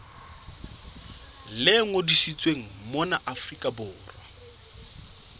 le ngodisitsweng mona afrika borwa